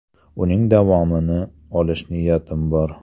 Uning davomini olish niyatim bor.